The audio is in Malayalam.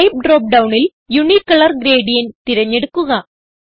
ടൈപ്പ് ഡ്രോപ്പ് ഡൌണിൽ യൂണിക്കലർ ഗ്രേഡിയന്റ് തിരഞ്ഞെടുക്കുക